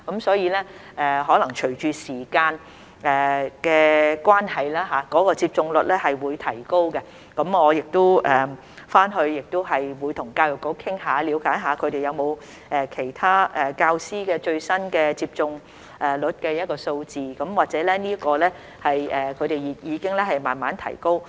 所以，可能隨着時間的關係，接種率亦會提高，我回去亦會跟教育局討論，了解他們有否其他教師最新接種率的數字，或許這方面的數字已經慢慢提高。